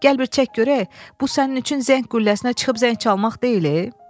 Gəl bir çək görək, bu sənin üçün zəng qülləsinə çıxıb zəng çalmaq deyil.